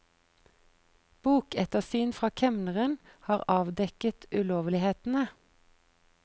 Bokettersyn fra kemneren har avdekket ulovlighetene.